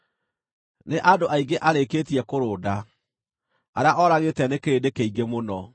Nĩ andũ aingĩ arĩkĩtie kũrũnda; arĩa oragĩte nĩ kĩrĩndĩ kĩingĩ mũno.